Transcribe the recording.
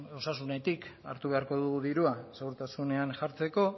osasunetik hartu beharko dugu dirua segurtasunean jartzeko